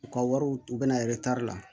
U ka wariw u bɛna la